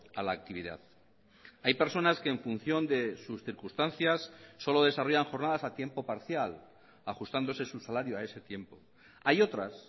a la actividad hay personas que en función de sus circunstancias solo desarrollan jornadas a tiempo parcial ajustándose su salario a ese tiempo hay otras